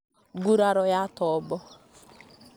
nguraro ya tombo